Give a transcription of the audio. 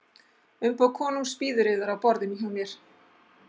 Umboð konungs bíður yðar á borðinu hjá mér.